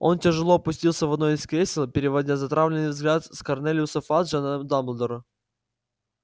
он тяжело опустился в одно из кресел переводя затравленный взгляд с корнелиуса фаджа на дамблдора